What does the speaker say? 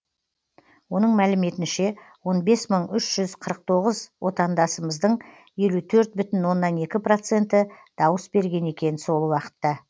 оның мәліметінше он бес мың үш жүз қырық тоғыз отандасымыздың елу төрт бүтін оннан екі проценті дауыс берген екен сол уақытта